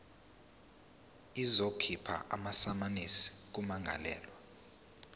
izokhipha amasamanisi kummangalelwa